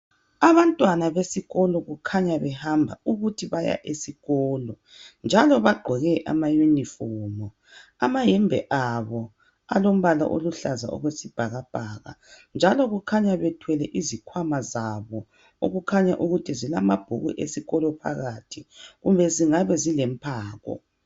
Abantwana besikolo kukhanya behamba ukuthi baya esikolo, njalo bagqoke ama uniform. Amahembe abo alombala oluhlaza okwesibhakabhaka njalo kukhanya bethwele izikhwama zabo okukhanya ukuthi zilamabhuku esikolo phakathi kumbe zingabe zilomphako.